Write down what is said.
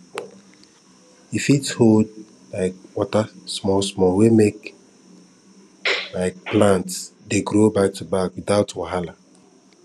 e fit hold um water smallsmall wey make um plants dey grow backtoback without wahala